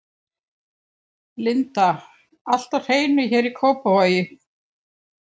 Linda: Allt á hreinu hér í Kópavogi?